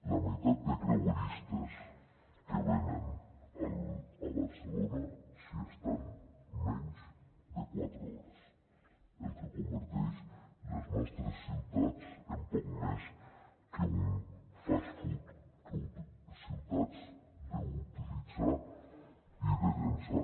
la meitat de creueristes que venen a barcelona s’hi estan menys de quatre hores el que converteix les nostres ciutats en poc més que un fast food que ciutats d’utilitzar i de llançar